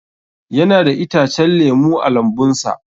Yana da itacen lemu a lambun sa.